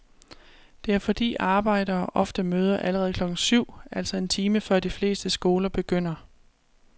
Det er fordi arbejdere ofte møder allerede klokken syv, altså en time før de fleste skoler begynder.